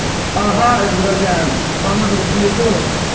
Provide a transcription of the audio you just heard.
угу это дорогая по номеру телефона